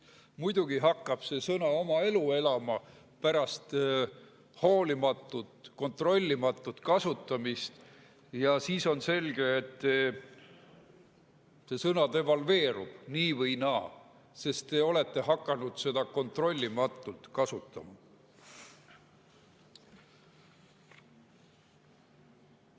Muidugi hakkab see sõna oma elu elama pärast hoolimatut, kontrollimatut kasutamist ja siis on selge, et see sõna devalveerub nii või naa, sest te olete hakanud seda kontrollimatult kasutama.